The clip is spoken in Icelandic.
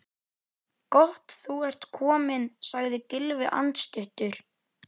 Gott þú ert kominn sagði Gylfi andstuttur.